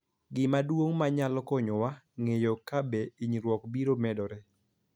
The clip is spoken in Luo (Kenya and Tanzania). Gima duong� ma nyalo konyowa ng�eyo ka be hinyruok biro medore